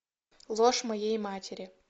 ложь моей матери